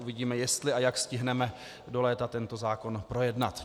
Uvidíme, jestli a jak stihneme do léta tento zákon projednat.